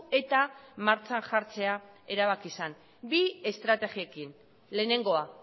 eta martxan jartzea erabaki zen bi estrategiekin lehenengoa